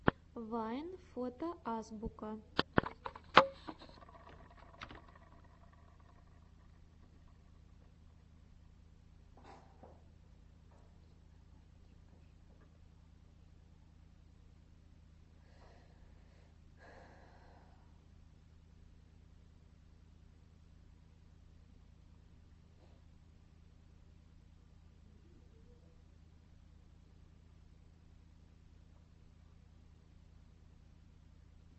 вайн фото азбука